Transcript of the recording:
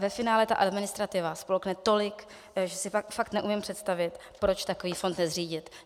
Ve finále ta administrativa spolkne tolik, že si fakt neumím představit, proč takový fond nezřídit.